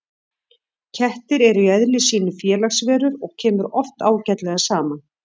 Kettir eru í eðli sínu félagsverur og kemur oft ágætlega saman.